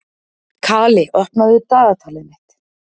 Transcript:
Kali, opnaðu dagatalið mitt.